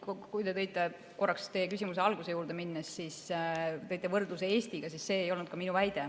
Aga korraks teie küsimuse alguse juurde minnes, kui te tõite võrdluse Eestiga, siis see ei olnud minu väide.